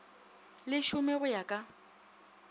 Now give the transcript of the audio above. le šome go ya ka